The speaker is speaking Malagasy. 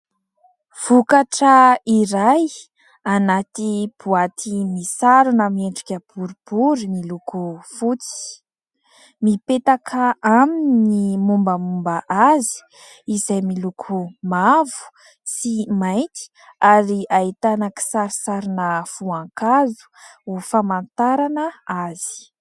Vokatra iray anaty boaty misarona miendrika boribory miloko fotsy. Mipetaka aminy ny momba momba azy izay miloko mavo sy mainty ary ahitana kisarisarina voankazo ho famantarana azy.